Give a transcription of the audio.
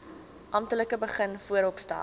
amptelik begin vooropstel